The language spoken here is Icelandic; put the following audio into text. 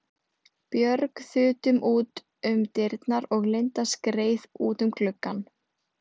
Björg þutum út um dyrnar og Linda skreið út um gluggann.